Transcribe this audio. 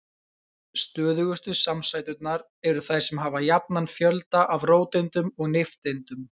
Stöðugustu samsæturnar eru þær sem hafa jafnan fjölda af róteindum og nifteindum.